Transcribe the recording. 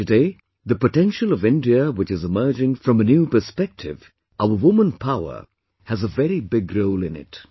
Today, the potential of India which is emerging from a new perspective, our woman power has a very big role in it